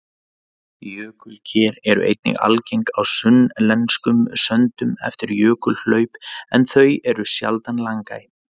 Jökulker eru einnig algeng á sunnlenskum söndum eftir jökulhlaup en þau eru sjaldan langæ.